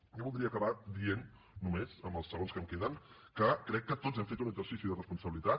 i jo voldria acabar dient només amb els segons que em queden que crec que tots hem fet un exercici de respon·sabilitat